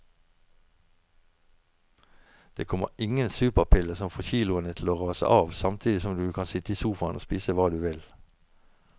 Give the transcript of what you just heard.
Det kommer ingen superpille som får kiloene til å rase av samtidig som du kan sitte i sofaen og spise hva du vil.